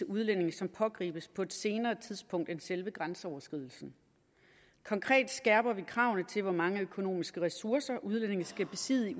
udlændinge som pågribes på et senere tidspunkt end ved selve grænseoverskridelsen konkret skærper vi kravene til hvor mange økonomiske ressourcer udlændinge skal besidde